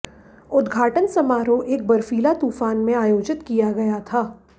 उद्घाटन समारोह एक बर्फ़ीला तूफ़ान में आयोजित किया गया था